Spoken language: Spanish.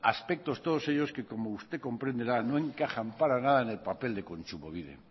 aspectos todos ellos que como usted comprenderá no encajan para nada en el papel de kontsumobide